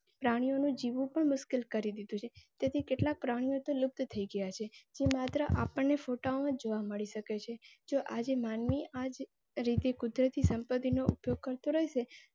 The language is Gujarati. પ્રાણીઓનો જીવ ઉપર મુશ્કેલ કરી દીધું છે. તેથી કેટલાક પ્રાણીઓ તો લુપ્ત થઈ ગયાં છે. માત્ર આપણે ફોટો જોવા મળી શકે છે. જો આજે માનવી તરીકે કુદરતી સંપત્તિનો ઉપયોગ કરતો રેહશે.